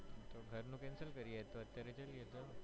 તો ઘર નું cancel કરીયે અત્યરે જઇયે તો